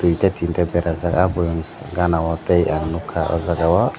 duita tinta berajak o boyams gana o tei ang nogkha o jaga o.